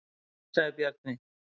Síðan sagði Bjarni: